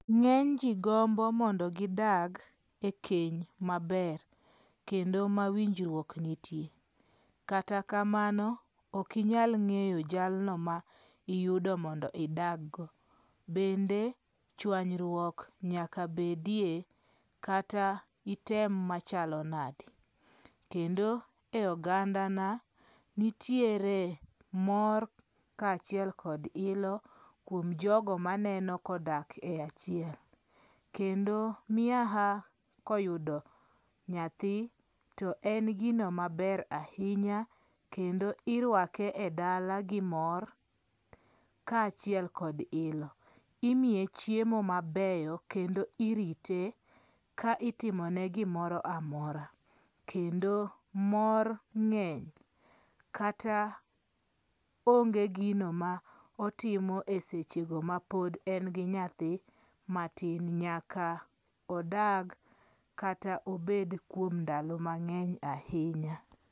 Ng'eyn ji gombo mondo gidag e keny maber. Kendo mawinjruok nitie. Katakamano ok inyal ng'eyo jalno ma iyudo mondo idag go. Bende chwanyruok nyaka bedie kata item machalo nade. Kendo e oganda na nitiere mor kachiel kod ilo kuom jogo maneno kodak e achiel. Kendo miaha koyudo nyathi to en gino maber ahinya kendo irwake e dala gi mor ka aachiel kod ilo. Imiye chiemo mabeyo kendo irite ka itimone gimoro amora. Kendo mor ng'eny kata onge gino ma otimo e seche go ma pod e gi nyathi matin nyaka odag kata obed kuom ndalo mang'eny ahinya